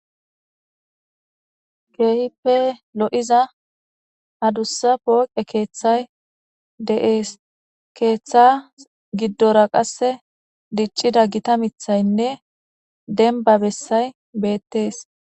keehippe lo7iza hadussa pooqe keeththay de7ees keeththa giddora qasse diccida gita mithaynne denba bessay beettees